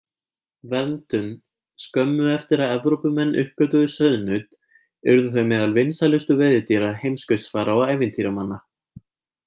Verndun Skömmu eftir að Evrópumenn uppgötvuðu sauðnaut urðu þau meðal vinsælustu veiðidýra heimskautsfara og ævintýramanna.